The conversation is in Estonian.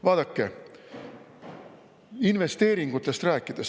Räägime investeeringutest.